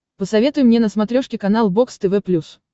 посоветуй мне на смотрешке канал бокс тв плюс